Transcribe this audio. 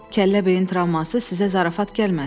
Kəllə beyin travması sizə zarafat gəlməsin.